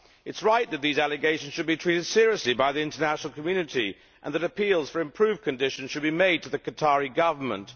It is right that these allegations should be treated seriously by the international community and that appeals for improved conditions should be made to the Qatari Government.